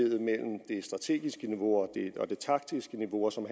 strategiske niveau og det taktiske niveau og som